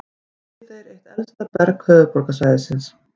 Í Viðey er eitt elsta berg höfuðborgarsvæðisins.